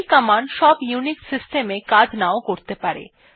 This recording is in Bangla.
এই কমান্ড সব ইউনিক্ষ সিস্টেম এ কাজ নাও করতে পারে